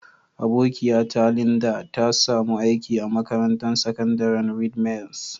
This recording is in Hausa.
Abokiya ta Linda, ta samu aiki a makarantan sakandaren Redeemers.